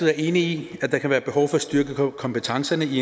er enig i at der kan være behov for at styrke kompetencerne i